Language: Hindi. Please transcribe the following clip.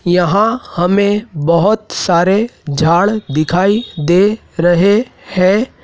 यहां हमें बहोत सारे झाड़ दिखाई दे रहे हैं।